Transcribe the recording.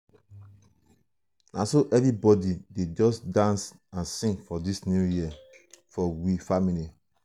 na so everybodi just dey dance and sing for dis new life for we family.